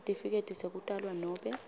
sitifiketi sekutalwa nobe